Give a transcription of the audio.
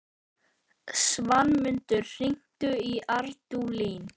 Svanmundur, hringdu í Ardúlín.